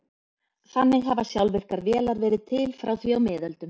Þannig hafa sjálfvirkar vélar verið til frá því á miðöldum.